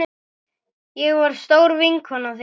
Ég var stór vinkona þín.